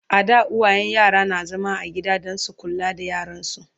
a da uwayen yara na zama a gida Dan su kula da yaransu